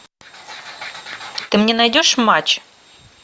ты мне найдешь матч